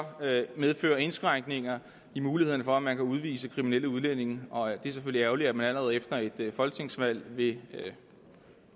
medføre indskrænkninger i mulighederne for at man kan udvise kriminelle udlændinge og det er selvfølgelig ærgerligt at man allerede efter et folketingsvalg vil